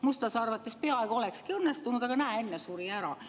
Mustlase arvates see peaaegu olekski õnnestunud, aga näe, enne suri ära.